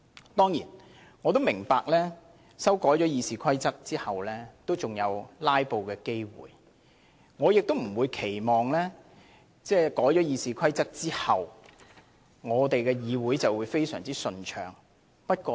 我當然明白在修改《議事規則》後仍有機會"拉布"，亦不期望這樣做能夠令議會的運作非常順暢。